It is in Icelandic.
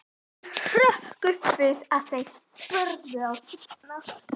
Hann hrökk upp við að þeir börðu á dyrnar.